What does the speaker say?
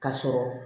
Ka sɔrɔ